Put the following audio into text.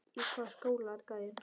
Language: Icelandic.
Í hvaða skóla er gæinn?